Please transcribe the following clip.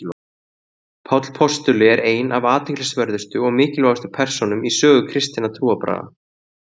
Páll postuli er ein af athyglisverðustu og mikilvægustu persónum í sögu kristinna trúarbragða.